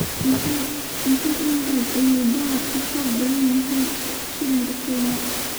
Intee in le'eg ayaa dollarku ka xoog badan yahay shilinka Kenya?